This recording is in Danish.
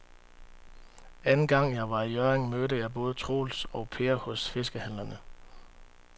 Anden gang jeg var i Hjørring, mødte jeg både Troels og Per hos fiskehandlerne.